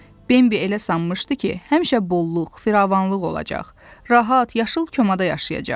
Bembi elə sanmışdı ki, həmişə bolluq, firavanlıq olacaq, rahat, yaşıl komada yaşayacaq.